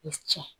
tiɲɛ